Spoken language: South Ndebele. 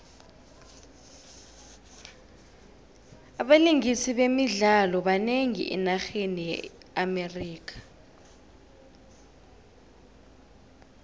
abalingisi bemidlalo banengi enarheni ye amerika